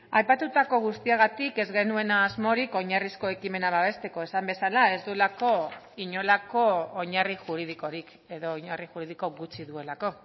aipatutako guztiagatik ez genuen asmorik oinarrizko ekimena babesteko esan bezala ez duelako inolako oinarri juridikorik edo oinarri juridiko gutxi duelako